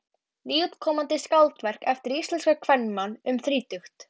Nýútkomnu skáldverki eftir íslenskan kvenmann um þrítugt.